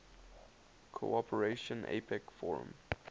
cooperation apec forum